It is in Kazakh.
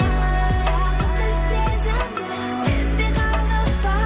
бақытты сезімді сезбей қалдық па